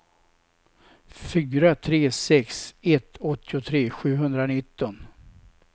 fyra tre sex ett åttiotre sjuhundranitton